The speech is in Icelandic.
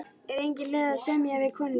Er engin leið að semja við konunginn?